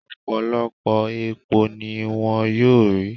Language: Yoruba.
Ọ̀pọ̀lọpọ̀ epo ni wón yóò rí